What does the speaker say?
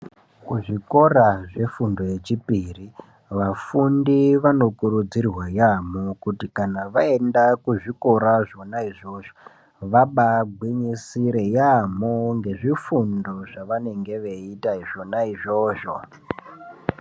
Kuzvikoro zvefundo yechipiri vafundi vanokurudzirwe yaambo kuti kana vaenda kuzvikoro zvona izvozvo vabagwinyisire yaambo ngezvifundo zvaanenge weiita zvona izvozvo.